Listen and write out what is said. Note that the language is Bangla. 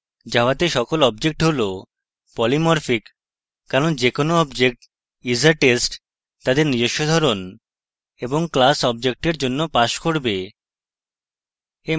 জাভাতে সকল objects হল polymorphic কারণ যে কোনো objects isa test তাদের নিজস্ব ধরন এবং class অবজেক্টের জন্য pass করবে